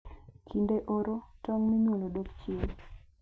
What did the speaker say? Kinde oro, tong' minyuolo dok chien.